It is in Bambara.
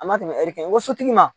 A ma tɛmɛ hɛri kan so tigi ma